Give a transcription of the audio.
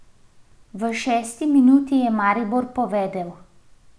V šesti minuti je Maribor povedel.